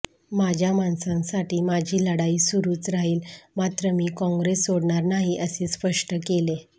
माझ्या माणसांसाठी माझी लढाई सुरूच राहील मात्र मी काँग्रेस सोडणार नाही असे स्पष्ट केले